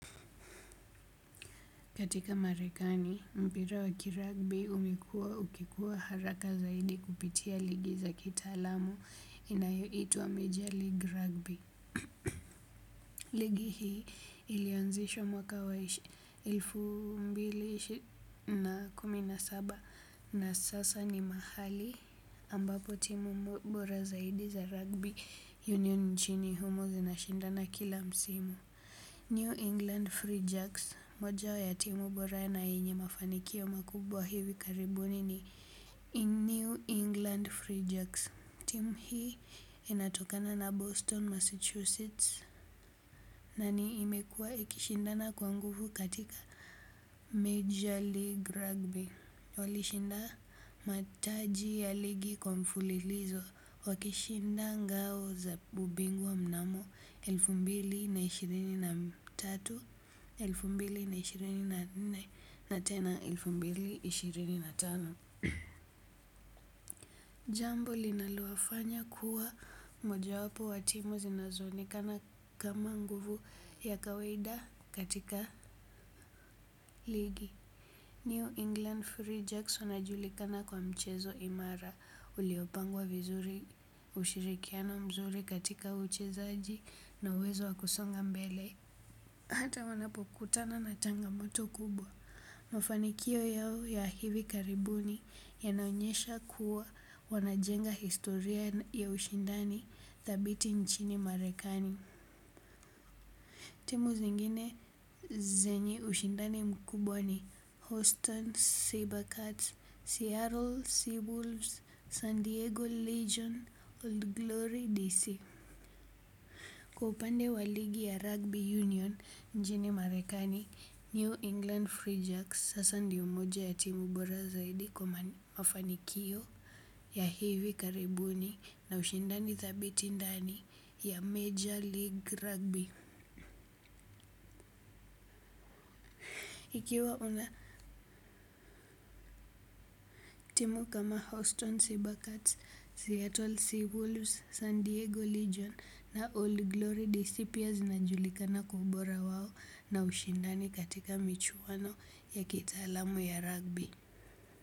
Katika Marekani, mpira wa kirugby umekuwa ukikuwa haraka zaidi kupitia ligi za kitaalamu inayoitwa Major League Rugby. Ligi hii ilianzishwa mwaka wa elfu mbili na kumi na saba, na sasa ni mahali ambapo timu bora zaidi za rugby union nchini humo zinashindana kila msimu. New England Free Jacks, moja ya timu bora na yenye mafanikio makubwa hivi karibuni ni New England Free Jacks, timu hii inatokana na Boston, Massachusetts. Na ni imekuwa ikishindana kwa nguvu katika Major League Rugby. Walishinda mataji ya ligi kwa mfulilizo. Wakishinda ngao za ubingwa mnamo elfu mbili na ishirini na tatu, elfu mbili na ishirini na nne na tena elfu mbili ishirini na tano. Jambo linalowafanya kuwa mojawapo wa timu zinazoonekana kama nguvu ya kawaida katika ligi. New England Free Jacks wanajulikana kwa mchezo imara. Uliopangwa vizuri, ushirikiano mzuri katika uchezaji na uwezo wa kusonga mbele. Hata wanapokutana na changamoto kubwa. Mafanikio yao ya hivi karibuni yanaonyesha kuwa wanajenga historia ya ushindani thabiti nchini Marekani. Timu zingine zenye ushindani mkubwa ni Houston, Cybercats, Seattle Seabulls, San Diego Legion, Old Glory D.C. Kwa upande wa ligi ya rugby union nchini Marekani New England Free Jacks sasa ndio moja ya timu bora zaidi kwa mafanikio ya hivi karibuni na ushindani thabiti ndani ya major league rugby. Ikiwa una timu kama Houston Cybercuts, Seattle Seawolves, San Diego Legion na All Glory DC pia zinajulikana kwa ubora wao na ushindani katika michuano ya kitaalamu ya rugby.